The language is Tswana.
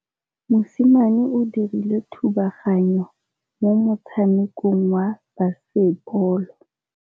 Mosimane o dirile thubaganyô mo motshamekong wa basebôlô.